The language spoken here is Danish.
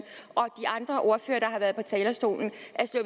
og talerstolen